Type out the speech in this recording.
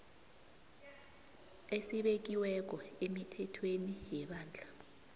esibekiweko emithethweni yebandla